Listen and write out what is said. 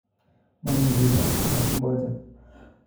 momikiba kotab mboja